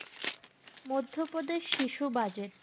মধ্যপ্রদেশ শিশু budget